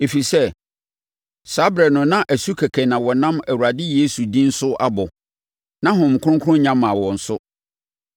ɛfiri sɛ, saa ɛberɛ no na asu kɛkɛ na wɔnam Awurade Yesu din so abɔ. Na Honhom Kronkron nnya mmaa wɔn so.